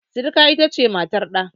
Sirika ita ce matar ɗa.